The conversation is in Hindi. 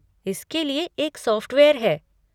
इसके लिए एक सॉफ़्टवेयर है।